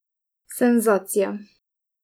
Senzacija.